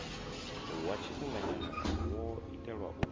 wa tshifhinganya wo itelwa u